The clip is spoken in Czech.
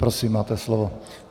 Prosím, máte slovo.